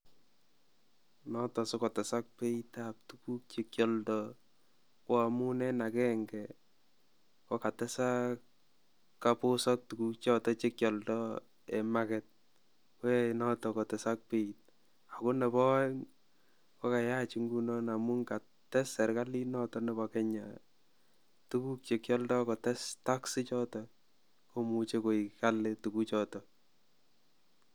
Noton sikotesak beitab tukuk chekioldo ko amun en agenge ko katesak kobosok tukuk choton chekioldo en market koyoe noton kotesak beit ako nebo oeng ko kayach ingunon amun kates sirkalit noton nebo Kenya tukuk chekioldo kotes tax ichoton komuche koik Kali tukuk choton.